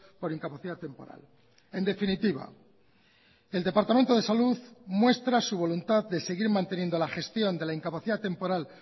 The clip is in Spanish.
por incapacidad temporal en definitiva el departamento de salud muestra su voluntad de seguir manteniendo la gestión de la incapacidad temporal